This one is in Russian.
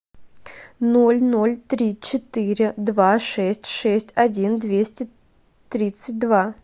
ноль ноль три четыре два шесть шесть один двести тридцать два